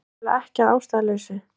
Það er vissulega ekki að ástæðulausu